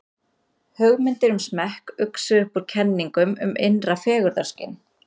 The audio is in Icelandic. hugmyndir um smekk uxu upp úr kenningum um innra fegurðarskyn